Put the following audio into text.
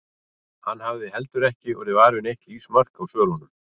Hann hafði heldur ekki orðið var við neitt lífsmark á svölunum.